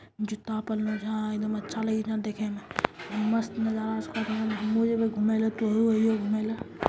जूता पेनहलो छे आ एक दम अच्छा लगाई छ देखे में मस्त नज़ारा उस घुमेले --